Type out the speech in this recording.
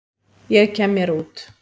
Ég kem mér út.